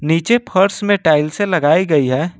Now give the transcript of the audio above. नीचे फर्श में टाइलसे लगाई गई है।